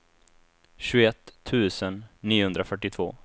tjugoett tusen niohundrafyrtiotvå